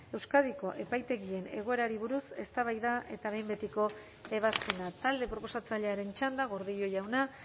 euskadiko epaitegien egoerari buruz eztabaida eta behin betiko ebazpena talde proposatzailearen txanda gordillo jauna